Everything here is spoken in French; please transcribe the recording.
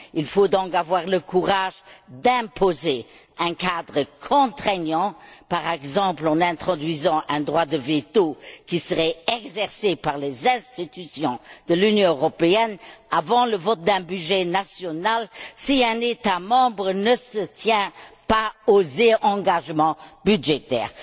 Il faut donc avoir le courage d'imposer un cadre contraignant, par exemple, en introduisant un droit de veto qui serait exercé par les institutions de l'Union européenne, avant le vote d'un budget national, si un État membre ne tient pas ses engagements budgétaires.